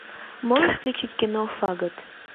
можешь включить кино фагот